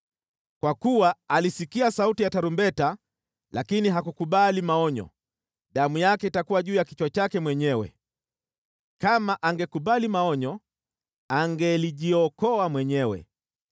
Kwa kuwa alisikia sauti ya tarumbeta lakini hakukubali maonyo, damu yake itakuwa juu ya kichwa chake mwenyewe. Kama angekubali maonyo, angelijiokoa mwenyewe.